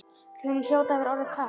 Honum hljóti að vera orðið kalt.